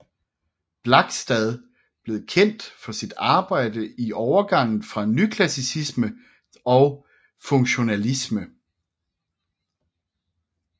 Blakstad blev kendt for sit arbejde i overgangen fra nyklassicisme og funktionalisme